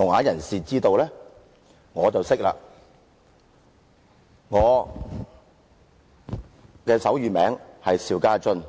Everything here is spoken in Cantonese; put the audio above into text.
我是說，我的手語名字是邵家臻。